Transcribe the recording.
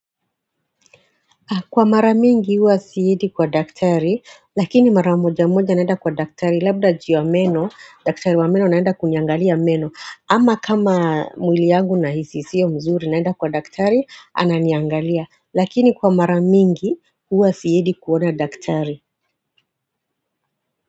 Kwa mara mingi huwa sienidi kwa daktari, lakini mara moja mmoja naenda kwa daktari, labda juu ya meno, daktari wa meno naenda kuniangalia meno. Ama kama mwili yangu nahisi si ya mzuri naenda kwa daktari, ananiangalia. Lakini kwa mara mingi huwa siidi kuona daktari.